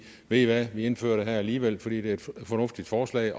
ved i hvad vi indfører det her alligevel fordi det er et fornuftigt forslag